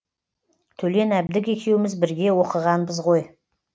төлен әбдік екеуміз бірге оқығанбыз ғой